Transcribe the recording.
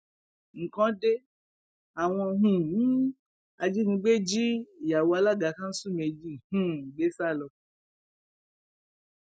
nǹkan de àwọn um ajínigbé jí ìyàwó alága kanṣu méjì um gbé sá lọ